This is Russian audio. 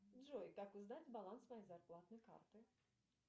джой как узнать баланс моей зарплатной карты